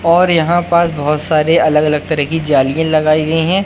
और यहां पास बहोत सारे अलग अलग तरह की जालियें लगाई गई हैं।